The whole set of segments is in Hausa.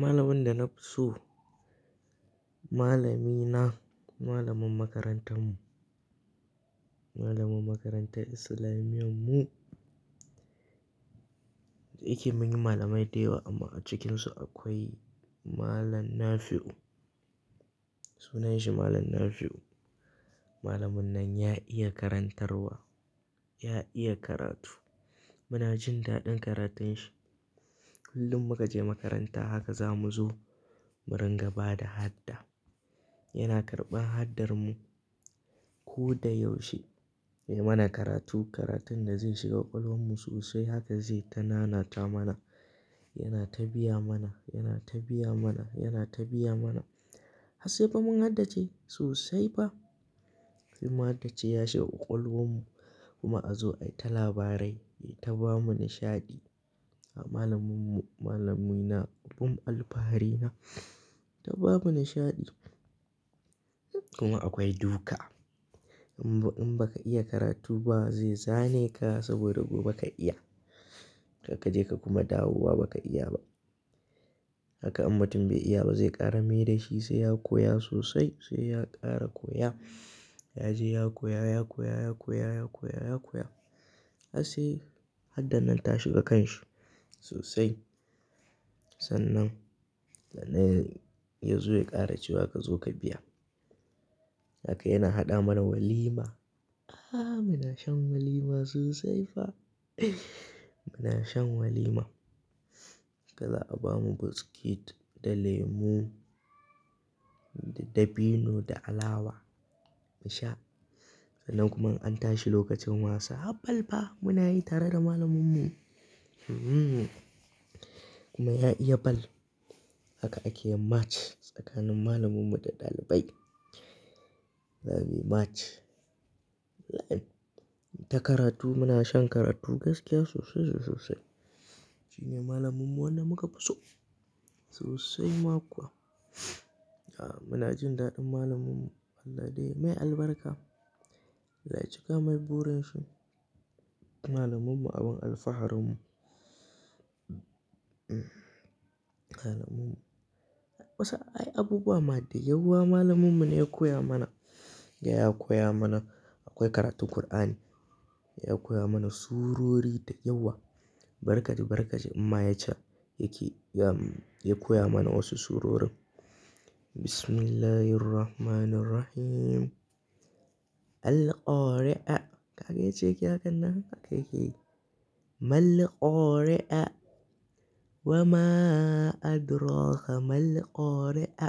Malamin da na fi so, malamina, malamin makarantar mu, malamin makarantar islamiyan mu. Da ike mun yi malamai da yawa amma a cikinsu akwai Malam Nafi'u. Sunan shi Malam Nafi'u. Malamin nan ya iya karantarwa, ya iya karatu. Muna jin daɗin karatun shi. Kullum muka je makaranta haka zamu zo, mu ringa bada hadda. Yana karɓan haddar mu. Ko da yaushe, yai mana karatu, karatun da zai shiga ƙwaƙwalwar mu sosai haka zai ta nanata mana. Yana ta biya mana, yana ta biya mana, yana ta biya mana. Har sai fa mun haddace sosai fa. Sai mun haddace ya shiga ƙwaƙwalwar mu kuma a zo ai ta labarai, yai ta ba mu nishaɗi. Malamin mu, malamina, abin alfahari na, ta ba mu nishaɗi. Kuma akwai duka. In ba, in ba ka iya karatu ba zai zane ka saboda gobe ka iya. Karka je ka kuma dawowa ba ka iya ba. Haka in mutum bai iya ba zai kara maida shi sai ya koya sosai sai ya ƙara koya. Ya je ya koya, ya koya, ya koya, ya koya, ya koya. Har sai haddar nan ta shiga kan shi sosai. Sannan, sannan ya, ya zo ya ƙara cewa ka zo ka biya. Haka yana haɗa mana walima. Ah, muna shan walima sosai fa. Muna shan walima. Haka za a ba mu biscuit da lemu da, da dabino da alawa mu sha. Sannan kuma in an tashi lokacin wasa. Hab bal fa muna yi tare da malamin mu. Hmm. Kuma ya iya ball. Haka ake yin match tsakanin malamin mu da ɗalibai. Zamu yi match. Ai. Ta karatu muna shan karatu gaskiya sosai sosai sosai. Shi ne malamin mu wanda muka fi so sosai ma kuwa. Muna jin daɗin malamin mu. Allah dai mai albarka. Zai cika mai burin shi. Malaman mu abin alfaharin mu. Malaman mu. Wasu ai abubuwa ma da yawa malamin mu ne ya koya mana. Ya koya mana. Akwai karatun Kur'ani. Ya koya mana surori da yawa. Bari kaji, bari kaji in ma yacca, yake ya, ya koya mana wasu surorin. Bismillahirrahmanirrahim. Al-Qari'a. Kaga yacce yake hakan nan haka yake yi. Mal Qari'a. Wamaa adraka mal qari'a.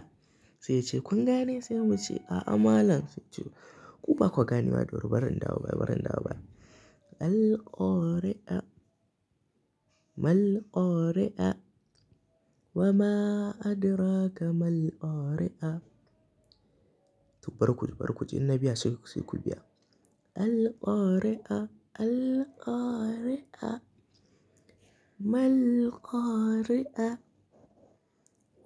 Sai ya ce "kun gane?" sai mu ce "a'a malam". Sai ya ce "ku ba kwa ganewa ba, bari in dawo baya, bari in dawo baya". Al-Qari'a. Mal Qari'a. Wama adraka mal qari'a. To bari kuji, bari kuji, inna biya sai ku, sai ku biya. Al-Qari'a. Al-Qari'a. Mal Qari'a.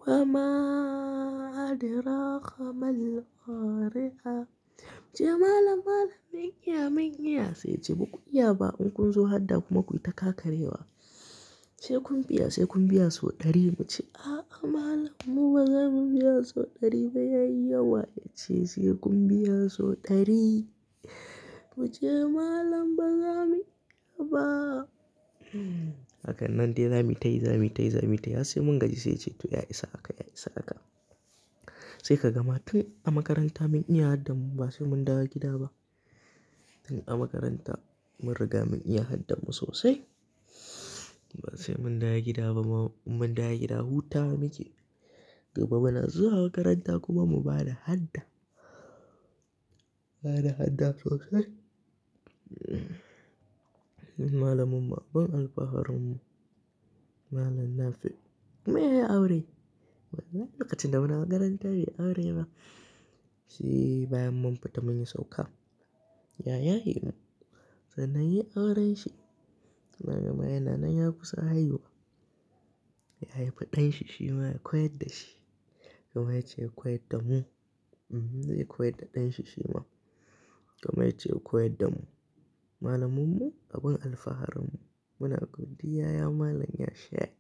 Wama adraka mal qari'a. Muce "malam, malam mun iya, mun iya". Sai ya ce "ba ku iya ba. In kun zo hadda kuma kuyi ta ƙakarewa". Sai kun biya, sai kun biya so ɗari". Muce "a'a malam mu ba zamu biya so ɗari ba yayi yawa". Ya ce "sai kun biya so ɗari". Muce "malam ba zamu iya ba" hakan nan dai zamuyi tayi, zamuyi tayi, zamu tayi. Har sai mun gaji sai ya ce "to ya isa haka, ya isa haka". Sai ka ga ma tun a makaranta mun iya haddan mu ba sai mun dawo gida ba. Tun a makaranta mun riga mun iya haddan mu sosai. Ba sai mun dawo gida ba ma, in mun dawo gida hutawa muke. Gobe mu na zuwa makaranta kuma mu bada hadda. Ba da hadda sosai. Malamin mu abin alfaharin mu. Malam Nafi. Kuma ya yi aure? Wannan lokacin da muna makaranta bai yi aure ba. Shi bayan mun fita mun yi sauka. Ya yaye mu. Sannan yayi auren shi. Yana nanma yana nan ya kusa haihuwa. Ya haifi ɗan shi shi ma ya koyar da shi. Kaman yacce ya koyar da mu. Hmm, zai koyar da ɗan shi shi ma. Kaman yacce ya koyar da mu. Malamin mu abin alfaharin mu. Muna godiya ya malam ya sheƙ.